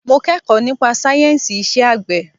Mo kẹ́kọ̀ọ́ nípa sáyẹ̀nsì iṣẹ́ àgbẹ̀.